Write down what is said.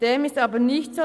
Dem ist aber nicht so: